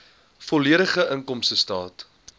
volledige inkomstestaat